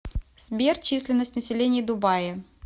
сбер численность населения дубаи